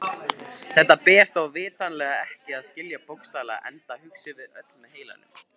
Þetta ber þó vitanlega ekki að skilja bókstaflega enda hugsum við öll með heilanum.